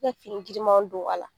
Ne fini girima don a la.